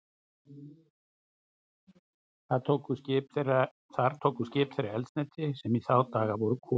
Þar tóku skip þeirra eldsneyti, sem í þá daga voru kol.